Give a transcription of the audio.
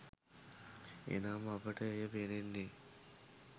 එනම් අපට එය පෙනෙන්නේ